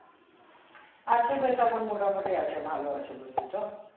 আছে ভাই মোটামুটি আছে ভালো আছে বুঝলি তো